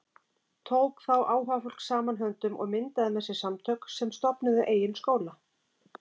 Tók þá áhugafólk saman höndum og myndaði með sér samtök sem stofnuðu eigin skóla.